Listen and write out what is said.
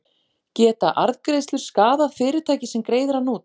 Geta arðgreiðslur skaðað fyrirtækið sem greiðir hann út?